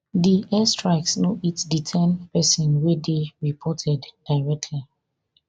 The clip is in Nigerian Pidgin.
di air strikes no hit di ten pesin wey dey reported directly